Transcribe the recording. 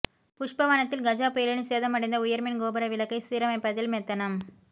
புஷ்பவனத்தில் கஜா புயலில் சேதமடைந்த உயர்மின் கோபுர விளக்கை சீரமைப்பதில் மெத்தனம்